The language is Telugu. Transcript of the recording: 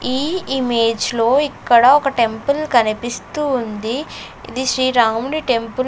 ఈ ఇమేజ్ లో ఇక్కడ ఒక టెంపుల్ కనిపిస్తూ ఉంది ఇది శ్రీరాముడి టెంపుల్ --